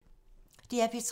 DR P3